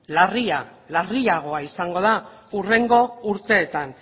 larriagoa izango da hurrengo urteetan